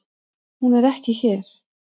Hún er ekki hér.